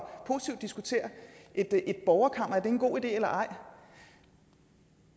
diskuterer et borgerkammer er det en god idé eller ej